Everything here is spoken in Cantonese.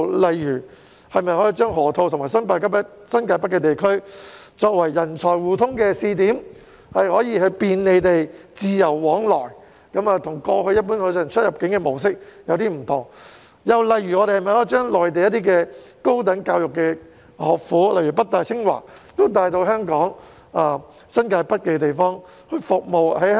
例如，把河套和新界北地區作為人才互通的試點，讓他們可以便利地自由往來，這與過去一般的出入境模式有所不同；又例如把內地的高等教育學府如北京大學、清華大學帶到香港新界北，服務香港的人才。